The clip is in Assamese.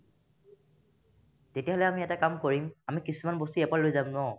তেতিয়াহ'লে আমি এটা কাম কৰিম আমি কিছুমান বস্তু ইয়াৰ পৰা লৈ যাম ন